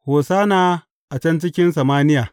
Hosanna a can cikin samaniya!